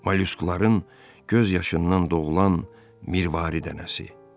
Malüskuların göz yaşından doğulan mirvari dənəsi.